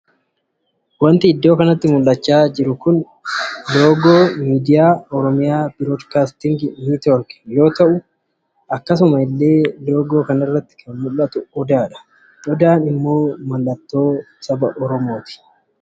Iddoo kanatti wanti amma suuraa isaa argaa jirru kun muka odaa bareedaa fi baay'ee miidhagaa kan tahedha. akkasuma illee mukti odaa kun hawaasa Oromoo biratti faayidaa qaba. mukti odaa kun hawaasa Oromoo biraatti akkamitti ilaalama?